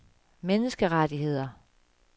menneskerettigheder